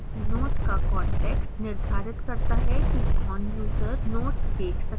note का context निर्धारित करता है कि कौन यूजर्स note देख सकता है